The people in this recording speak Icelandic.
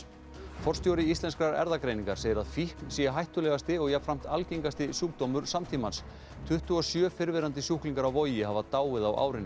forstjóri Íslenskrar erfðagreiningar segir að fíkn sé hættulegasti og jafnframt algengasti sjúkdómur samtímans tuttugu og sjö fyrrverandi sjúklingar á Vogi hafa dáið á árinu